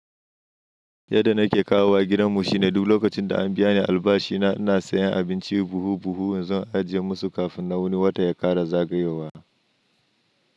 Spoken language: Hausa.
Yadda na ke kawo wa gidan mu shi ne duk lokacin da an biya ni albashi na, ina sayan abinci buhu-buhu in zan ajiye musu kafin na wani wata ya ƙara zagayowa.